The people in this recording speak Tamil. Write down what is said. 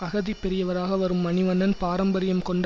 அகதிப் பெரியவராக வரும் மணிவண்ணன் பாரம்பரியம் கொண்ட